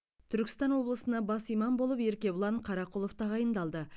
түркістан облысына бас имам болып еркебұлан қарақұлов тағайындалды